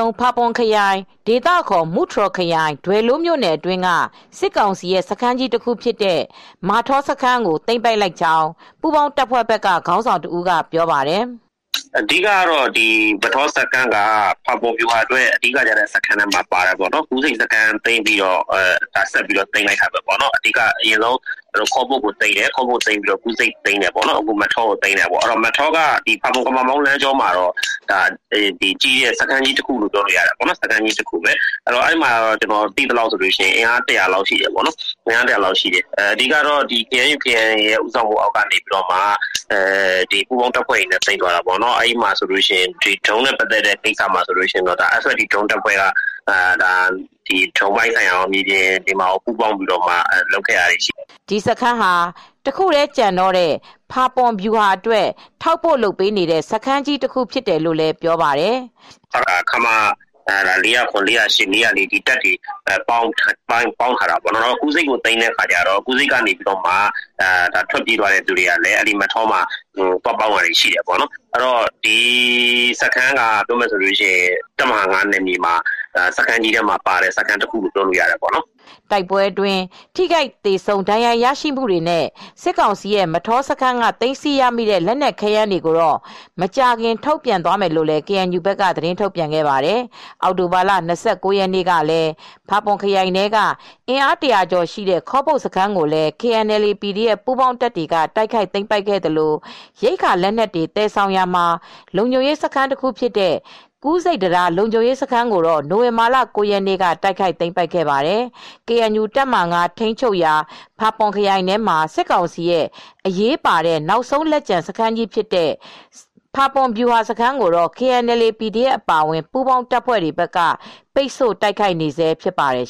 ုံး၊ဖာပွန်ခရိုင် ဒေသအခေါ် မူတြော်ခရိုင်၊ ဒွယ်လိုးမြို့နယ် အတွင်းက စစ်ကောင်စီရဲ့ စခန်းကြီးတခုဖြစ်တဲ့ မထောစခန်းကို သိမ်းပိုက်ခဲ့ကြောင်းပူးပေါင်းတပ်ဘက်ကခေါင်းဆောင်တဦးကပြောပြပါတယ်။ " မထောစခန်းက ဖာပွန်ဗျူဟာအတွက် အဓိက ကျတဲ့စခန်းထဲမှာပါတယ်ပေါ့နော်၊ ကူးဆိပ်စခန်းသိမ်းပြီးတော့ဆက်ပြီးတော့သိမ်းလိုက်တာပဲပေါ့နော်၊ အရင်ဆုံးခေါပုတ်စခန်းကိုသိမ်းတယ် ပြီးတော့ကူးဆိပ်စခန်းကိုသိမ်းတယ်၊ ပြီးတော့မထောကိုသိမ်းတယ်။ မထောစခန်းကတော့ ဖာပွန် ကမမောင်းလမ်းကြောင်းမှာတော့ ကြီးတဲ့စခန်းလို့ပြောလို့ရပါတယ်။ ကျနော်သိသလောက်ကတော့အင်အား ၁၀၀လောက်ရှိပါတယ်။ အဓိကကတော့ KNU KNLA ဦးဆောင်မူ့နဲ့ ပူးပေါင်းတပ်ဖွဲ့တွေပေါင်းပြီးသိမ်းလိုက်တာပေါ့။ ဒရုန်းနဲ့ပတ်သက်လို့ရှိရင် FFT ဒရုန်းတပ်ဖွဲ့ ဒရုန်းပိုင်းဆိုင်ရာရော မြေပြင်မှာပူးပေါင်းလုပ်ဆောင်တာတွေလည်းရှိပါတယ်။" ဒီစခန်းဟာ တခုတည်းကျန်တော့တဲ့ ဖာပွန်ဗျူဟာအတွက် ထောက်ပို့လုပ်ပေးနေတဲ့ စခန်းကြီးတခုဖြစ်တယ်လို့လည်းပြောပါတယ်။ " ခမရ ၄၀၇ ၄၀၈ ၄၀၄ ဒီတပ်တွေက ပေါင်းထားတာဖြစ်တယ်။ ကူးဆိပ်ကိုသိမ်းတော့လည်းကူးဆိပ်က လူတွေက အဲဒီစခန်းမှာသွားပေါင်းတာရှိတယ်။ ဒီစခန်းကတော့တပ်မဟာ ၅နယ်မြေထဲမှာတော့ စခန်းကြီးတခုဖြစ်ပါတယ်။" တိုက်ပွဲအတွင်း ထိခိုက်သေဆုံး ဒဏ်ရာရရှိမှုတွေနဲ့ စစ်ကောင်စီရဲ့ မထောစခန်းက သိမ်းဆည်းရမိတဲ့ လက်နက်ခဲယမ်းတွေကိုတော့မကြာခင်ထုတ်ပြန်သွားမယ်လို့လည်းကေအန်ယူဘက်ကသတင်းထုတ်ပြန်ခဲ့ပါတယ်။ အောက်တိုဘာလ ၂၉ ရက်နေ့ကလည်း ဖာပွန်ခရိုင်ထဲက အင်အား ၁၀၀ကျော်ရှိတဲ့ ခေါပုတ် စခန်းကို လည်း KNLA/PDFပူးပေါင်းတပ်တွေကသိမ်းပိုက်ခဲ့သလို ရိက္ခာလက်နက်တွေသယ်ဆောင်ရာမှာလုံခြုံရေးစခန်းတခုဖြစ် ကူးဆိပ်တံတားလုံခြုံရေးစခန်းကိုတော့ နိဝင်ဘာလက ၉ရက်နေ့က တိုက်ခိုက်သိမ်းပိုက်ခဲ့ပါတယ်။ KNU တပ်မဟာ ၅ ထိမ်းချုပ်ရာ ဖာပွန်ခရိုင်ထဲမှာ စစ်ကောင်စီရဲ့ အရေးပါတဲ့ နောက်ဆုံးလက်ကျန်စခန်းကြီးဖြစ်တဲ့ ဖာပွန်ဗျူဟာစခန်းကို KNLA /PDF အပါအဝင် ပူးပေါင်းတပ်တွေကပိတ်တို့ တိုက်ခိုက်နေဆဲဖြစ်ပါတယ်